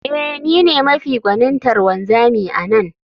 Ee, ni ne mafi gwanintar wanzami a nan